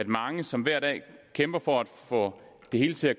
mange som hver dag kæmper for at få det hele til at